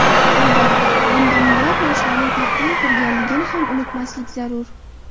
Albatta bunda, minglab yoshlarning taqdiri turganligini ham unutmaslik zarur.